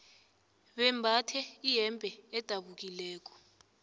bembathe iyembe edabukileko